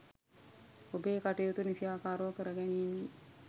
ඔබේ කටයුතු නිසියාකාරව කර ගැනීමේ